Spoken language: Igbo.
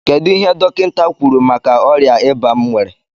kedụ ihe dọkinta kwụrụ maka ọria ịba m nwere?